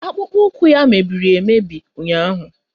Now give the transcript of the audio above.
Akpụkpọụkwụ ya mebiri emebi ụnyaahụ